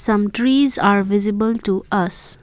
some trees are visible to us.